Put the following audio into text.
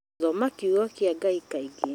Thoma kiugo kĩa Ngai kaingĩ